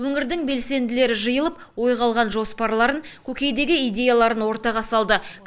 өңірдің белсенділері жиылып ойға алған жоспарларын көкейдегі идеяларын ортаға салды